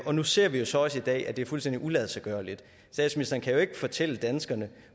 og nu ser vi jo så også i dag at det er fuldstændig uladsiggørligt statsministeren kan jo ikke fortælle danskerne